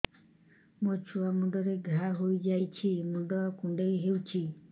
ମୋ ଛୁଆ ମୁଣ୍ଡରେ ଘାଆ ହୋଇଯାଇଛି ମୁଣ୍ଡ କୁଣ୍ଡେଇ ହେଉଛି